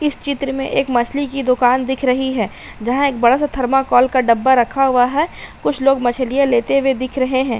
इस चित्र में एक मछली की दुकान दिख रही है। जहां एक बड़ा-सा थर्माकॉल का डब्बा रखा हुआ है। कुछ लोग मछलियां लेते हुए दिख रहे हैं।